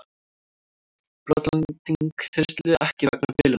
Brotlending þyrlu ekki vegna bilunar